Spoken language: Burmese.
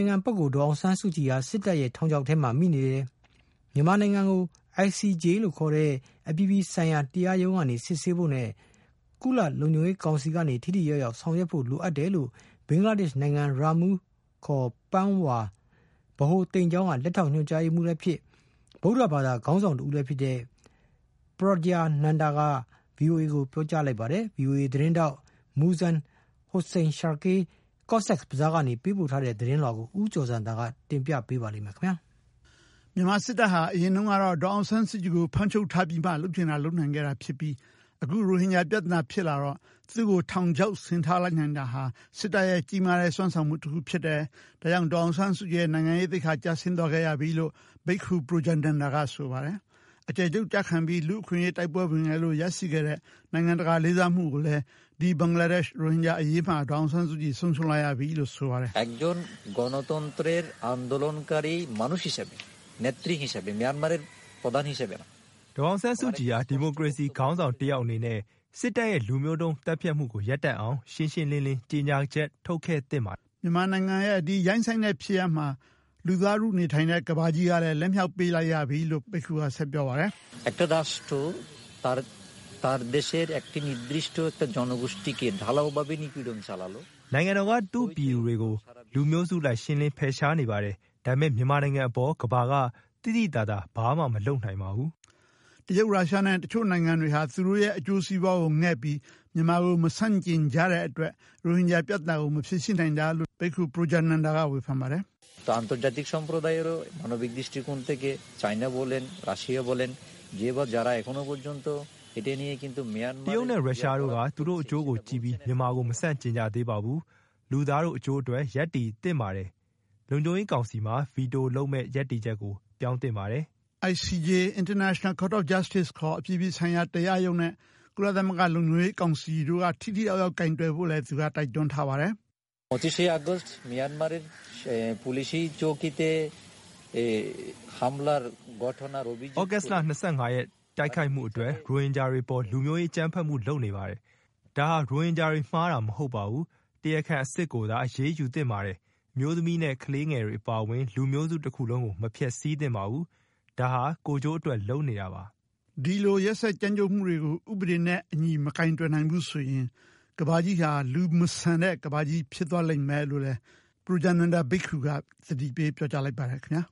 င်ခံပုဂ္ဂိုလ် ဒေါ်ေအောင်ဆန်းစုကြည်ဟာ စစ်တပ်ရဲ့ ထောင်ခြောက်ထဲမှာမိနေတယ်။ မြန်မာနိုင်ငံကို ICJ လို့ ခေါ်တဲ့ အပြည် ပြည်ဆိုင်ရာတရားရုံးက စစ်ဆေးဖို့နဲ့ ကုလလုံခြုံရေးကောင်စီက ထိထိရောက်ရောက် ဆောင်ရွက်ဖို့ လိုအပ်တယ်လို့ ဘင်္ဂလားဒေ့ရှ် နိုင်ငံ ရာမူးခေါ် ပန်းဝါ ဗဟိုသိမ်ကျောင်း က လက်ထောက်ညွှန်ကြားရေးမှုးလည်းဖြစ် ဗုဒ္ဓဘာသာ ခေါင်းဆောင်တဦးလည်းဖြစ်တဲ့ Projya Nanda က VOA ကိုပြောကြားလိုက်ပါတယ်။ VOA သတင်းထောက် Muzzaen Hossain Shakil က ကော့ဆက်ဘဇားက ပို့တဲ့ သတင်းလွှာကို ဦးကျော်ဇံသာက ဆက်လက် တင်ပြပေးမှာ ဖြစ်ပါတယ်။ မြန်မာစစ်တပ်ဟာ အရင်တုန်းကတော့ ဒေါ်အောင်ဆန်းစုကြည်ကို ဖမ်းချုပ်ထားပြီးမှ လုပ်ချင်တာလုပ်နိုင်ခဲ့တာ ဖြစ်ပြီး အခု ရိုဟင်ဂျာပြဿနာဖြစ်လာတော့ သူ့ကို ထောင်ခြောက် ဆင်ထားလိုက်နိုင်တာဟာ စစ်တပ်ရဲ့ကြီးမားတဲ့ စွမ်းဆောင်မှုတခုဖြစ်တယ်၊ ဒါကြောင့် ဒေါ်အောင်ဆန်းစုကြည်ရဲ့ နိုင်ငံရေးသိက္ခာ ကျဆင်းသွားခဲ့ရပြီလို့ ဘိက္ခူ ပရိုဂျာနန္ဒာ က ဆိုပါတယ်။ အကျယ်ချုပ်ကျခံပြီး လူ့အခွင့်အရေးတိုက်ပွဲဝင်ခဲ့လို့ ရရှိခဲ့တဲ့ နိုင်ငံတကာလေးစားမှုကိုလည်း ဒီ ဘင်္ဂလားဒက်ရှ်- ရိုဟင်ဂျာအရေးမှာ ဒေါ်အောင်ဆန်းစုကြည် ဆုံးရှုံးလိုက်ရပြီလို့ ဆိုပါတယ်။ “ဒေါ်အောင်ဆန်းစုကြည်ဟာ ဒီမိုကရေစီခေါင်းဆောင်တယောက် အနေနဲ့ စစ်တပ်ရဲ့လူမျိုးတုံး သတ်ဖြတ်မှုကို ရပ်တန့်အောင် ရှင်းရှင်းလင်းလင်း ကြေညာချက် ထုတ်ခဲ့သင့်ပါတယ်။” မြန်မာနိုင်ငံရဲ့ ဒီရိုင်းစိုင်းတဲ့ဖြစ်ရပ်မှာ လူသားထုနေထိုင်တဲ့ ဒီကမ္ဘာကြီးကလည်း လက်မြှောက်ပေးလိုက်ရပြီလို့ ဒီ ဘိက္ခူက ဆက်ပြောပါတယ်။ “နိုင်ငံတော်က သူ့ပြည်သူတွေကို လူမျိုးစုအလိုက် ရှင်းလင်းဖယ်ရှားနေပါတယ်။ ဒါပေမယ့် မြန်မာနိုင်ငံအပေါ် ကမ္ဘာက သိသိသာသာ ဘာမှမလုပ်နိုင်ပါဘူး။” တရုတ်၊ ရုရှားနဲ့တချို့နိုင်ငံတွေဟာ သူတို့ရဲ့အကျိုးစီးပွားကိုငဲ့ပြီး မြန်မာကို မဆန့်ကျင်ကြတဲ့အတွက် ရိုဟင်ဂျာပြဿနာကို မဖြေရှင်းနိုင်တာလို့ ဘိက္ခူ ပရိုဂျာနန္ဒာ က ဝေဖန်ပါတယ်။ “တရုတ်နဲ့ရုရှားတို့က သူတို့အကျိုးကိုကြည့်ပြီး မြန်မာကို မဆန့်ကျင်ကြသေးပါဘူး။ လူသားတို့အကျိုးအတွက် ရပ်တည်သင့်ပါတယ်။ လုံခြုံရေးကောင်စီမှာ ဗီတိုလုပ်မယ့်ရပ်တည်ချက်ကို ပြောင်းသင့်ပါတယ်။” ICJ – International Court of Justice ခေါ် အပြည်ပြည်ဆိုင်ရာတရားရုံးနဲ့ ကုလသမဂ္ဂလုံခြုံရေးကောင်စီတို့က ထိထိရောက်ရောက်ကိုင်တွယ်ဖို့ကိုလည်း သူက တိုက်တွန်းထားပါတယ်။ “သြဂုတ်လ ၂၅ ရက် တိုက်ခိုက်မှုအတွက် ရိုဟင်ဂျာတွေအပေါ် လူမျိုးရေးအကြမ်းဖက်မှုလုပ်နေပါတယ်။ ဒါဟာ ရိုဟင်ဂျာတွေမှားတာမဟုတ်ပါဘူး၊ တရားခံအစစ်ကိုသာ အရေးယူသင့်ပါတယ်။ အမျိုးသမီးနဲ့ကလေးငယ်တွေအပါအဝင် လူမျိုးစုတခုလုံးကို မဖျက်ဆီးသင့်ပါဘူး၊ ဒါဟာ ကိုယ်ကျိုးအတွက် လုပ်နေတာပါ။” ဒီလို ရက်စက်ကြမ်းကြုတ်မှုတွေကို ဥပဒေနဲ့အညီ မကိုင်တွယ်နိုင်ဘူးဆိုရင် ကမ္ဘာကြီးဟာ လူမဆန်တဲ့ကမ္ဘာကြီးဖြစ်သွားလိမ့်မယ်လို့လည်း ပရိုဂျာနန္ဒာဘိက္ခူက သတိပေး ပြောကြားလိုက်ပါတယ်ခင်ဗျာ